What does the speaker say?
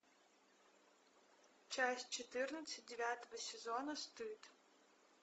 часть четырнадцать девятого сезона стыд